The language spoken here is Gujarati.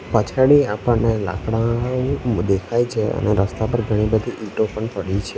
પછાડી આપણને લાકડાનું દેખાય છે અને રસ્તા પર ઘણી બધી ઈટો પણ પડી છે.